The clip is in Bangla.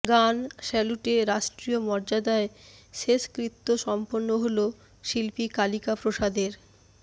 গান স্যালুটে রাষ্ট্রীয় মর্যাদায় শেষকৃত্য সম্পন্ন হল শিল্পী কালিকাপ্রসাদের